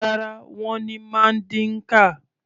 Rárá, wọ́n ní Mandinka.